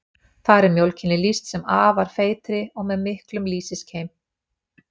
þar er mjólkinni lýst sem afar feitri og með miklum lýsiskeim